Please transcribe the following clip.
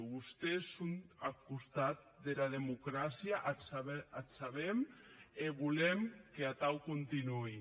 vostés son ath costat dera democràcia ac sabem e volem qu’atau contunhe